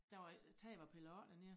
Der var ik taget var pillet af dernede